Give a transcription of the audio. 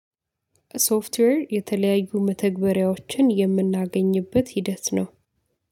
ሶፍትዌር የተለያዩ መተግበሪያዎችን የምናገኝበት ሂደት ነው